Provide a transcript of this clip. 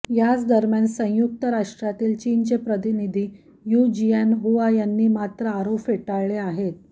याचदरम्यान संयुक्त राष्ट्रातील चीनचे प्रतिनिधी यू जियानहुआ यांनी मात्र आरोप फेटाळले आहेत